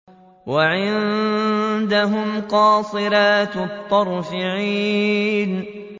وَعِندَهُمْ قَاصِرَاتُ الطَّرْفِ عِينٌ